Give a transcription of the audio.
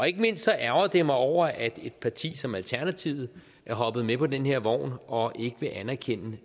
ikke mindst ærgrer jeg mig over at et parti som alternativet er hoppet med på den her vogn og ikke vil anerkende